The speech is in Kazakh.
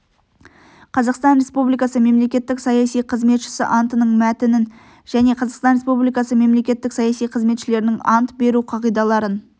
қазақстан республикасы мемлекеттік саяси қызметшісі антының мәтінін және қазақстан республикасы мемлекеттік саяси қызметшілерінің ант беру қағидаларын